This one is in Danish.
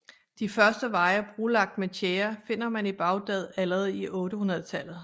De første veje brolagt med tjære finder man i Baghdad allerede i 800 tallet